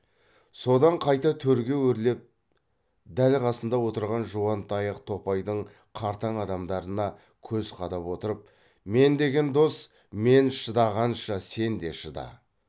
содан қайта төрге өрлеп дәл қасында отырған жуантаяқ топайдың қартаң адамдарына көз қадап отырып мен деген дос мен шыдағанша сен де шыда